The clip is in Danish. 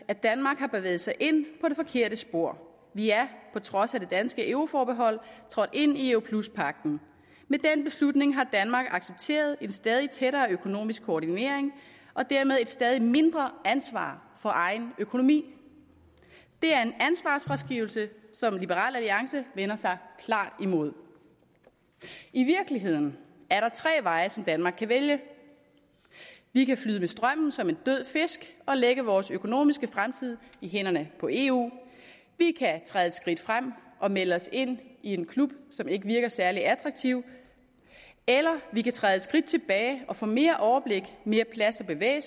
at danmark har bevæget sig ind på det forkerte spor vi er på trods af det danske euroforbehold trådt ind i europluspagten med den beslutning har danmark accepteret en stadig tættere økonomisk koordinering og dermed et stadig mindre ansvar for egen økonomi det er en ansvarsfraskrivelse som liberal alliance vender sig klart imod i virkeligheden er der tre veje som danmark kan vælge vi kan flyde med strømmen som en død fisk og lægge vores økonomiske fremtid i hænderne på eu vi kan træde et skridt frem og melde os ind i en klub som ikke virker særlig attraktiv eller vi kan træde et skridt tilbage og få mere overblik mere plads at bevæge